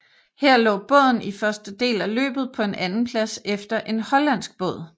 Her lå båden i første del af løbet på en andenplads efter en hollandsk båd